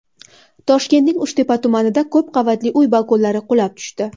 Toshkentning Uchtepa tumanida ko‘p qavatli uy balkonlari qulab tushdi.